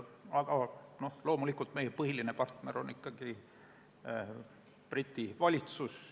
Aga loomulikult meie põhiline partner on ikkagi Briti valitsus.